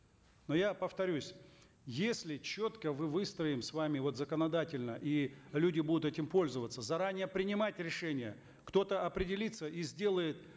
но я повторюсь если четко мы выстроим с вами вот законодательно и люди будут этим пользоваться заранее принимать решения кто то определится и сделает